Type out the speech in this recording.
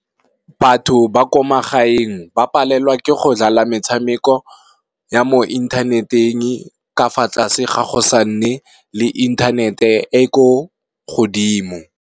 Batho ba ko magaeng ba palelwa ke go dlala metshameko ya mo inthaneteng ka fa tlase ga go sa nne le inthanete e ko godimo.